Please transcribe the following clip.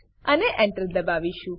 અને Enter દબાવીશું